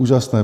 Úžasné.